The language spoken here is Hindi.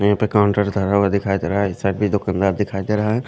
यहां पे काउंटर धरा हुआ दिखाई दे रहा है इस साइड भी दुकानदार दिखाई दे रहा है।